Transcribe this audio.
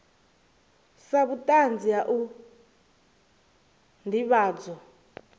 sa vhutanzi ha u ndivhadzo